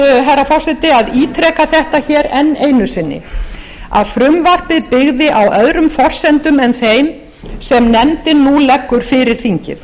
nauðsynlegt herra forseti að ítreka þetta enn einu sinni að frumvarpið byggði á öðrum forsendum en þeim sem nefndin nú leggur fyrir þingið